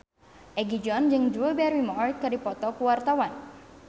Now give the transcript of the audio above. Egi John jeung Drew Barrymore keur dipoto ku wartawan